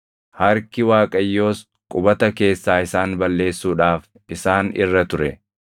Harki Waaqayyoos qubata keessaa isaan balleessuudhaaf isaan irra ture.